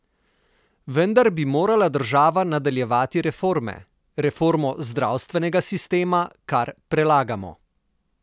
Vendar bi morala država nadaljevati reforme: "Reformo zdravstvenega sistema kar prelagamo.